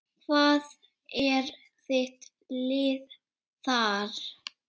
Hvað er þitt lið þar?